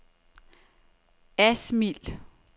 Asmild